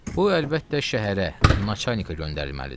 Bu əlbəttə şəhərə naçanikə göndərilməlidir.